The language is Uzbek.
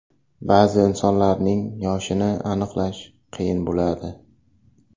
Ba’zi insonlarning yoshini aniqlash qiyin bo‘ladi.